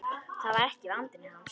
Það var ekki vandi hans.